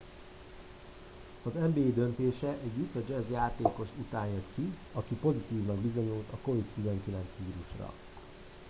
az nba döntése egy utah jazz játékos után jött aki pozitívnak bizonyult a covid-19 vírusra